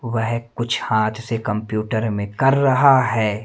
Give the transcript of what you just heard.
वह कुछ हांथ से कंप्यूटर में कर रहा है।